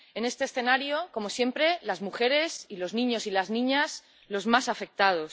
En este escenario, como siempre, las mujeres, y los niños y las niñas, son los más afectados.